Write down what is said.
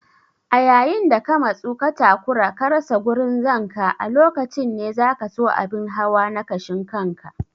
A yayin da ka matsu ka takura ka rasa gurin zanka a lokacin ne zakaso abun hawa na kashin kanka.